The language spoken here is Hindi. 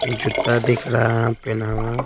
जूता दिख रहा है पहना हुआ--